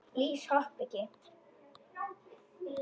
Lýs hoppa ekki.